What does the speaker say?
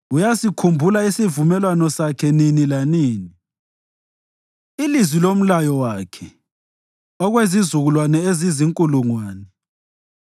Uyasikhumbula isivumelwano sakhe nini lanini, ilizwi lomlayo wakhe, okwezizukulwane ezizinkulungwane,